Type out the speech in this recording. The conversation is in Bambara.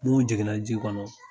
Mun jigin na ji kɔnɔ.